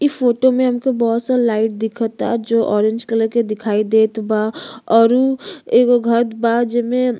इ फोटो मे हमको बहुत सारा लाइट दिखता जो ऑरेंज कलर के दिखाई देत बा और उ एगो घऱ बा जेमे --